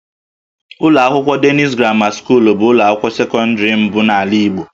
Ụlọ akwụkwọ Denis Gramma bụ ụlọ akwụkwọ sekọndịrị mbụ n'ala Igbo